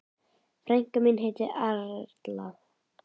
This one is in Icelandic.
Frænka mín heitir Erla.